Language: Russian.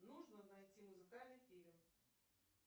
нужно найти музыкальный фильм